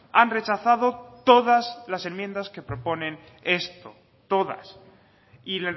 han rechazado todas las enmiendas que proponen esto todas y